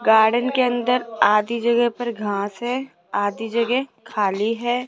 Garden के अंदर आधी जगह पर घास है आधी जगह खाली है।